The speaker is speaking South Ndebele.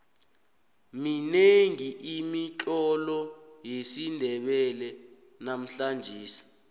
minengi imitlolo yesindebele namhlangesi